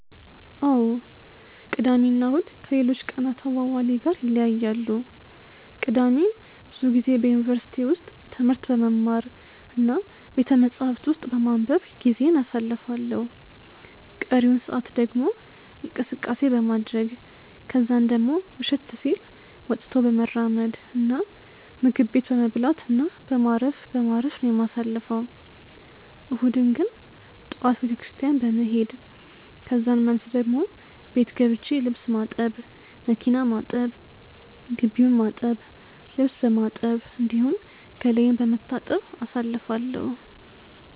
አዎ ቅዳሜ እና እሁድ ከሌሎች ቀናት አዋዋሌ ጋር ይለያያሉ። ቅዳሜን ብዙ ጊዜ በዩኒቨርሲቲ ውስጥ ትምህርት በመማር እና ቤተመጻሕፍት ውስጥ በማንበብ ጊዜዬን አሳልፋለሁ ቀሪውን ሰአት ደግሞ እንቅስቀሴ በማድረረግ ከዛን ደሞ መሸት ሲል ወጥቶ በመራመድ እና ምግብ ቤት በመብላት እና በማረፍ በማረፍ ነው የማሳልፈው። እሁድን ግን ጠዋት ቤተክርስትያን በመሄድ ከዛን መልስ ደሞ ቤት ገብቼ ልብስ ማጠብ፣ መኪና ማጠብ፣ ግቢውን በማጠብ፣ ልብስ በማጠብ፣ እንዲሁም ገላዬን በመታጠብ አሳልፋለሁ።